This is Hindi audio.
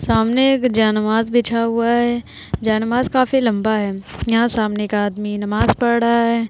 सामने एक जेनमाज बिछा हुआ है जेनमाज काफी लंबा है यहां सामने का आदमी नमाज पढ़ रहा है।